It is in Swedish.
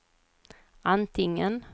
antingen